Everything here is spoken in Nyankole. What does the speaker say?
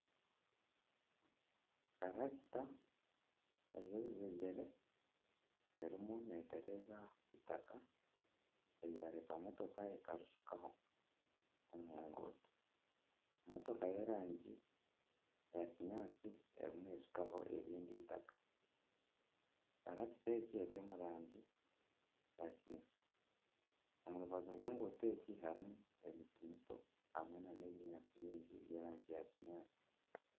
Karakita eine oruzegyere erimu neetereza eitaka, eryareetwa motooka ekarishukaho omu nguuto motoka y'erangi, motoka y'erangi ya kinyaatsi erimu neeshukaho erindi eitaka, karakita egi eri omu rangi ya kineekye, omu rubaju rw'enguuto egi harimu ebinyaatsi bingi by'erangi ya kinyaatsi